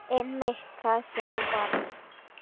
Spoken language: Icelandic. Einmitt það sem ég varð.